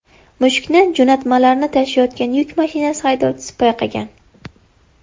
Mushukni jo‘natmalarni tashiyotgan yuk mashinasi haydovchisi payqagan.